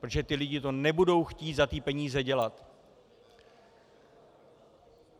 Protože ti lidé to nebudou chtít za ty peníze dělat.